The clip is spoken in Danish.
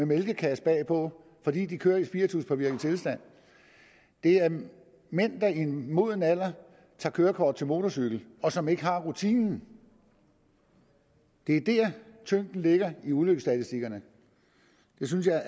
mælkekasse bagpå fordi de kører i spirituspåvirket tilstand det er mænd mænd der i en moden alder tager kørekort til motorcykel og som ikke har rutinen det er der tyngden ligger i ulykkesstatistikkerne det synes jeg